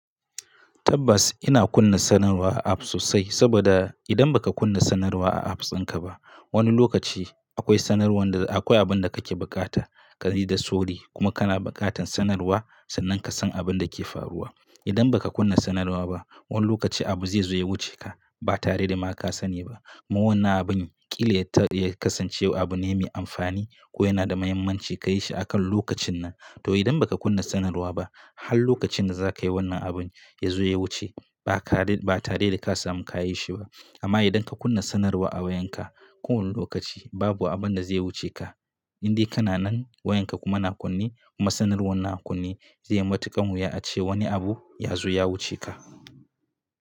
Tabbas ina kunna sanarwa a apps sosai saboda idan baka kunna sanarwa a appsinka ba, wani lokaci akwai sanarwan da akwai abin da kake bukata ka ji da soji kuma kana bukatan sanarwa sannan ka san abin da ke faruwa. Idan baka kunna sanarwa ba, wani lokaci abu zai zo ya wuce ka ba tare da ma ka sani ba. Ma wannan abun ƙila ya kasance abu ne mai amfani ko yana da muhimmanci ka yi shi a kan lokacin nan. To idan baka kunna sanarwa ba, har lokacin da za ka yi wannan abun ya zo ya wuce ba tare da ka samu ka yi shi ba. Amma idan ka kunna sanarwa a wayanka, kowane lokaci babu abin da zai wuce ka. Indai kana nan wayanka kuma yana kunne kuma sanarwar yana kunne, zai yi matuƙan wuya ace wani abu ya zo ya wuce ka.